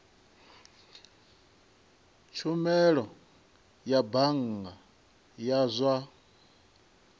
tshumelo ya bannga ya zwa